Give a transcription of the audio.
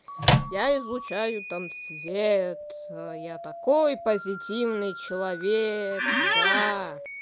я излучаю там свет я такой позитивный человек да